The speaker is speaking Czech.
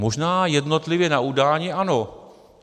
Možná jednotlivě na udání ano.